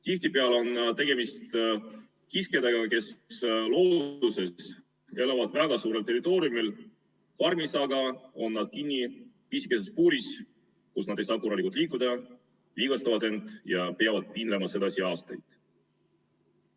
Tihtipeale on tegemist kiskjatega, kes looduses elavad väga suurel territooriumil, farmis aga on nad kinni pisikeses puuris, kus nad ei saa korralikult liikuda, vigastavad end ja peavad piinlema sedasi aastaid.